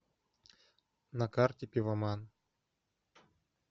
на карте пивоман